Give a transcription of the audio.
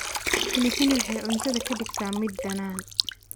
Pilipili waxay cuntada ka dhigtaa mid dhanaan.